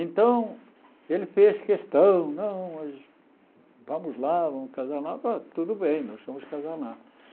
Então, ele fez questão, não vamos lá, vamos casar lá, tudo bem, nós vamos casar lá.